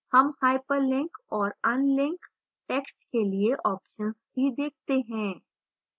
हम hyperlink और unlink text के लिए options भी देखते हैं